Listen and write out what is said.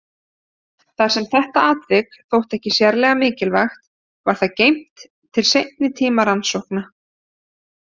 Þar sem þetta atvik þótti ekki sérlega mikilvægt var það geymt til seinni tíma rannsókna.